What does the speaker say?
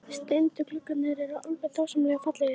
Steindu gluggarnir eru alveg dásamlega fallegir!